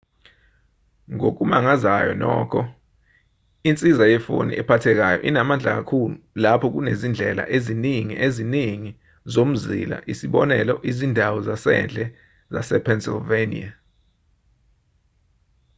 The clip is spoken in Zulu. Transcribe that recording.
ngokumangazayo nokho insiza yefoni ephathekayo inamandla kakhulu lapha kunezindlela eziningi eziningi zomzila isibonelo izindawo zasendle zasepennsylvania